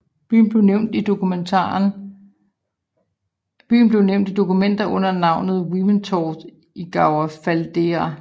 Byen blev nævnt i dokumenter under navnet Wippenthorp i Gau Faldera